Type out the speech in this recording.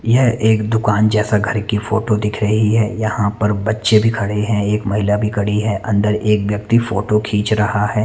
यह दुकान जेसा घर की फोटो दिख रही है यहाँ पर बच्चे भी खड़े हैं एक एक महिला भी खड़ी है अन्दर एक व्यक्ति फोटो खीच रहा है।